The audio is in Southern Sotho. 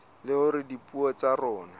le hore dipuo tsa rona